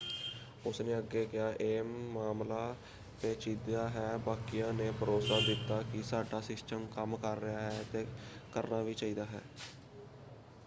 ਉਸਨੇ ਅੱਗੇ ਕਿਹਾ ਇਹ ਮਾਮਲਾ ਪੇਚੀਦਾ ਹੈ। ਬਾਕੀਆਂ ਨੇ ਭਰੋਸਾ ਦਿੱਤਾ ਕਿ ਸਾਡਾ ਸਿਸਟਮ ਕੰਮ ਕਰ ਰਿਹਾ ਹੈ ਅਤੇ ਕਰਨਾ ਵੀ ਚਾਹੀਦਾ ਹੈ।